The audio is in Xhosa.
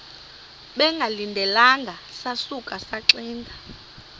bengalindelanga sasuka saxinga